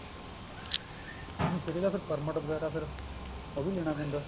ਨੀ ਫ਼ੇਰ ਇਹਦਾ ਫੇਰ permit ਵਗੈਰਾ ਫ਼ੇਰ ਉਹ ਵੀ ਲੈਣਾ ਪੈਂਦਾ